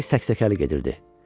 Ürəyi səksəkəli gedirdi.